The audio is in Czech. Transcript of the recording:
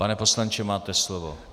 Pane poslanče, máte slovo.